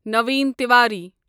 Naveen Tiwari